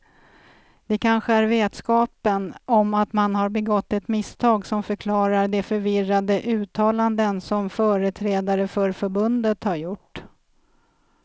Det kanske är vetskapen om att man har begått ett misstag som förklarar de förvirrade uttalanden som företrädare för förbundet har gjort.